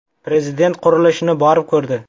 Prezident qurilishni borib ko‘rdi .